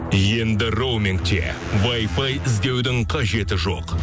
енді роумингте вайфай іздеудің қажеті жоқ